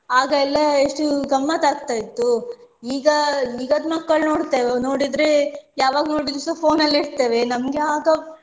ಆಗ ಎಲ್ಲ ಎಷ್ಟು ಗಮ್ಮತ್ತಾಕ್ತ ಇತ್ತು ಈಗ ಈಗದ್ ಮಕ್ಕಳು ನೋಡ್ತೇವೆ ನೋಡಿದ್ರೆ ಯಾವಾಗಲು ನೋಡಿದ್ರುಸ phone ಅಲ್ಲೆ ಇರ್ತಾರೆ. ನಮ್ಗೆ ಆಗ